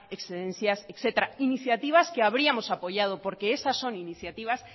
excedencias etcétera iniciativas que habríamos apoyado porque esas son iniciativas